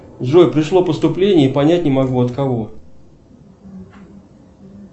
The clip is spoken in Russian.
джой пришло поступление и понять не могу от кого